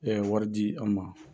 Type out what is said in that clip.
wari di an ma.